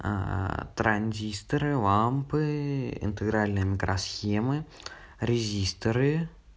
транзисторы лампы интегральные микросхемы резисторы